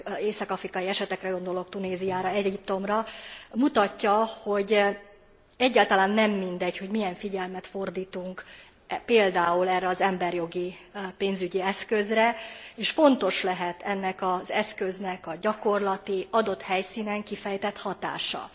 észak afrikai esetekre gondolok, Tunéziára, Egyiptomra mutatja, hogy egyáltalán nem mindegy, hogy milyen figyelmet fordítunk például erre az emberi jogi, pénzügyi eszközre, és fontos lehet ennek az eszköznek a gyakorlati, adott helyszínen kifejtett hatása.